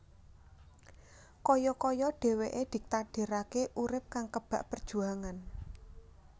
Kaya kaya dhèwèké ditakdiraké urip kang kebak perjuangan